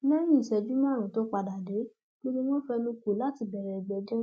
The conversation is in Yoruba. lẹyìn ìṣẹjú márùnún tó padà dé gbogbo wọn fẹnu kò láti bẹrẹ ìgbẹjọ